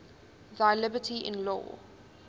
thy liberty in law